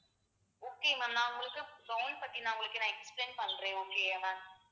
okay ma'am நான் உங்களுக்கு gown பத்தி நான் உங்களுக்கு நான் explain பண்றேன் okay யா ma'am